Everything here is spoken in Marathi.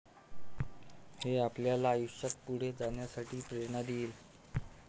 हे आपल्याला आयुष्यात पुढे जाण्यासाठी प्रेरणा देईल.